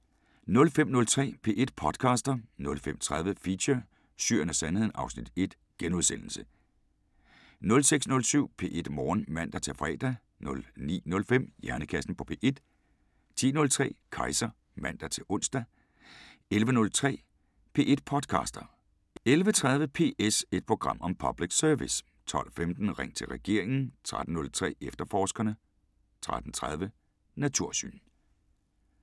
05:03: P1 podcaster 05:30: Feature: Syrien og Sandheden (Afs. 1)* 06:07: P1 Morgen (man-fre) 09:05: Hjernekassen på P1 10:03: Kejser (man-ons) 11:03: P1 podcaster 11:30: PS – et program om public service 12:15: Ring til regeringen 13:03: Efterforskerne 13:30: Natursyn